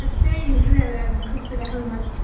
Ha seegin inaad aado dugsiga hal mar